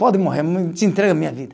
Pode morrer, me te entrego a minha vida.